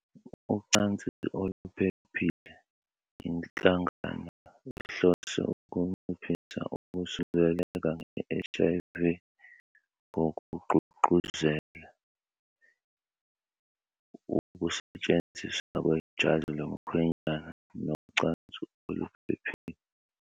Ucansi oluphephile. Inhlangano ihlose ukunciphisa ukusuleleka nge-HIV ngokugqugquzela [] ukusetshenziswa kwejazi lomkhwenyana nocansi oluphephile.